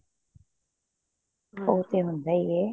ਉਹ ਤੇ ਹੁੰਦਾ ਹੀ ਏ